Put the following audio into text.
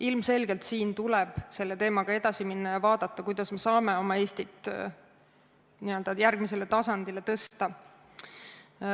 Ilmselgelt tuleb selle teemaga edasi minna ja vaadata, kuidas me saame oma Eesti n-ö järgmisele tasandile tõsta.